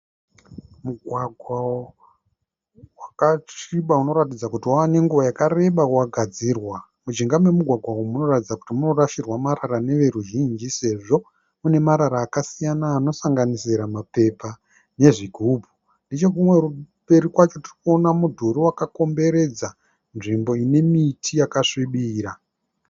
Mugwagwa wakasviba unoratidza kuti wave ne nguva yakareba wagadzirwa. Mujinga memugwagwa umu munoratidza kuti munorashirwa marara neveruzhinji sezvo mune marara akasiyana anosanganisira mapepa nezvigubhu. Nechekumwe kumberi kwacho tirikuona mudhurii wakakomberedza nzvimbo ine miti yakasvibira.